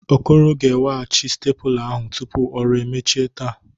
Okoro ga-eweghachi stepụla ahụ tupu ọrụ emechie taa.